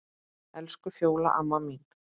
Elsku Fjóla amma mín.